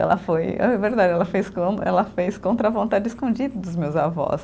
Ela foi, é verdade, ela fez com, ela fez contra a vontade, escondida dos meus avós.